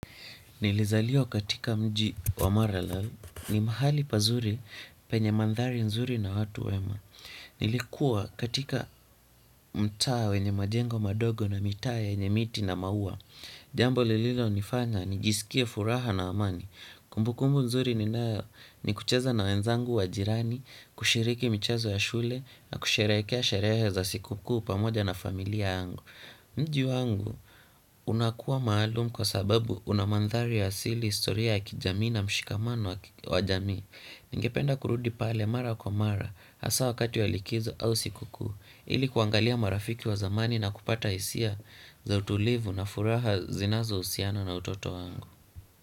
Nilizaliwa katika mji wa Marala ni mahali pazuri penye mandhari nzuri na watu wema. Nilikuwa katika mtaa wenye majengo madogo na mitaa yenye miti na maua. Jambo lililonifanya nijisikie furaha na amani. Kumbukumbu nzuri ninayo ni kucheza na wenzangu wa jirani, kushiriki michezo ya shule na kusherehekea sherehe za siku kuu pamoja na familia yangu. Mji wangu unakuwa maalum kwa sababu unamandhari ya asili historia ya kijamii na mshikamano wa jamii. Ningependa kurudi pale mara kwa mara hasa wakati ya likizo au siku kuu ili kuangalia marafiki wa zamani na kupata hisia za utulivu na furaha zinazohusiana na utoto wangu.